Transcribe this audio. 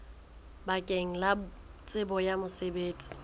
bakeng la tsebo ya mosebetsi